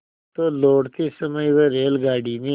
तो लौटते समय वह रेलगाडी में